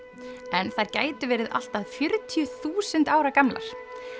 en þær gætu verið allt að fjörutíu þúsund ára gamlar